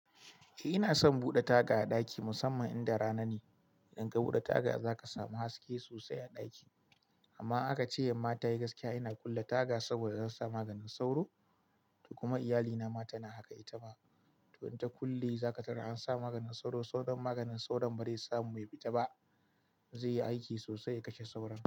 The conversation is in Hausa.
Eh ina son buɗe taga a ɗaki musamman in da rana ne. Idan ka buɗe taga zaka samu haske sosai a ɗaki. Amma aka ce yamma tayi gaskiya ina kulle taga saboda zansa maganin sauro. Kuma iyalina ma tana haka ita ma. To ta kulle za ka tarar ansa maganin sauro. Sauran maganin sauron ba zai samu ya fita ba. Zai yi aiki sosai ya kashe sauron.